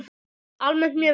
Almennt mjög vel.